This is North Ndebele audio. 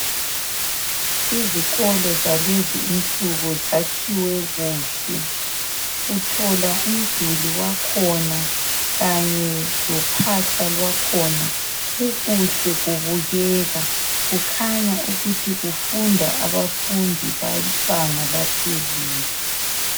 Izikolo zalezi insuku zakhiwe kuhle. Uthola umduli wakhona kanye lophahla lwakhona kukuhle kubukeka, kukhanya ukuthi kufunda abafundi bebanga laphezulu.